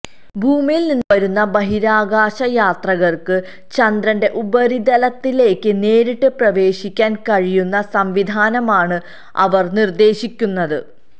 ഭൂമിയിൽ നിന്ന് വരുന്ന ബഹിരാകാശയാത്രികർക്ക് ചന്ദ്രന്റെ ഉപരിതലത്തിലേക്ക് നേരിട്ട് പ്രവേശിക്കാൻ കഴിയുന്ന സംവിധാനമാണ് അവര് നിര്ദേശിക്കുന്നത്